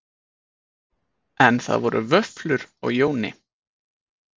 En það voru vöflur á Jóni